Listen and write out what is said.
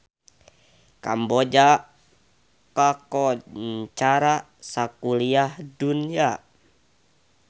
Kamboja kakoncara sakuliah dunya